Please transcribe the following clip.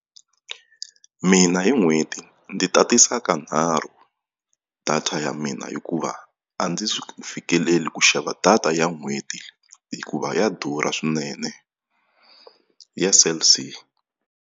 Mina hi n'hweti ndzi tatisa kanharhu data ya mina hikuva a ndzi swi fikeleli ku xava data ya n'hweti hikuva ya durha swinene ya Cell C.